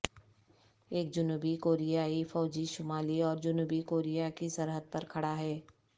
ایک جنوبی کوریائی فوجی شمالی اور جنوبی کوریا کی سرحد پر کھڑا ہے